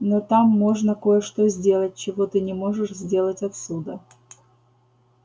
но там можно кое-что сделать чего ты не можешь сделать отсюда